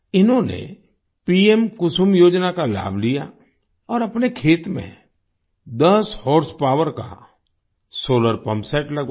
इन्होंने पीएम कुसुम योजना का लाभ लिया और अपने खेत में दस हॉर्सपावर का सोलार पम्प सेट लगवाया